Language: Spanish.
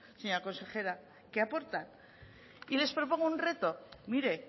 qué aportan y les propongo un reto mire